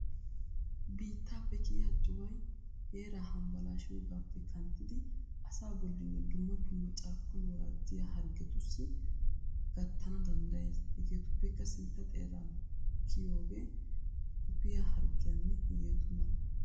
Biittappe kiyiya cuway heera hambbalashiyoogape kanttiddi asa bollani dumma dumma carkkuwan worajjiya harggetussi gattana danddayees. Hegetuppeka sintta xeeran kiyooge quppiya harggiyanne hegetu mala.